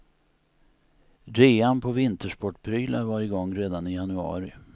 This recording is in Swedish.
Rean på vintersportprylar var igång redan i januari.